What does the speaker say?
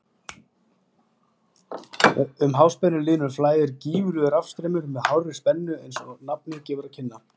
Um háspennulínur flæðir gífurlegur rafstraumur með hárri spennu eins og nafnið gefur til kynna.